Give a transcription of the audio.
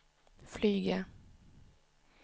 flyga